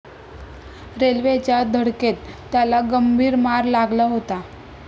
रेल्वेच्या धडकेत त्याला गंभीर मार लागला होता.